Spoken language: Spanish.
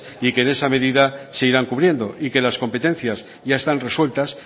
y que de esa medida se irán cubriendo y que las competencias ya están resueltas